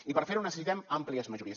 i per fer ho necessitem àmplies majories